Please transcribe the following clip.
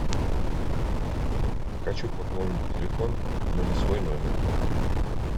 хочу пополнить телефон но не свой номер